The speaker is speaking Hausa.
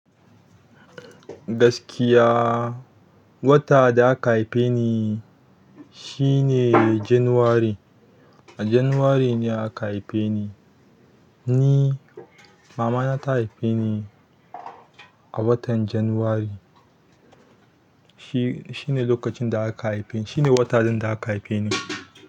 Gaskiya, wata da aka haife ni shi ne January. A January ne aka haife ni. Ni, mama na ta haife ni a watan January. Shi, shi ne lokacin da aka haife ni. Shi ne watan da aka haife ni.